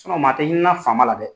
maa tɛ hinɛna fama la dɛ!